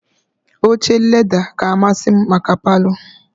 Oche leda ka amasị m maka Palọ